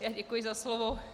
Já děkuji za slovo.